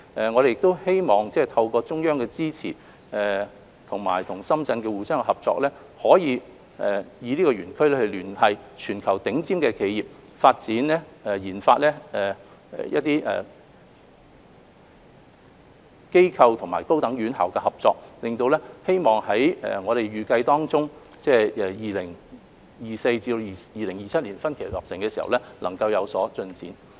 我們希望透過中央支持，加上與深圳的相互合作，可以利用這個園區聯繫全球頂尖的企業，推動研發機構及高等院校的合作，希望園區預計在2024年至2027年分期落成時，能有所進展。